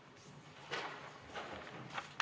Istungi lõpp kell 13.00.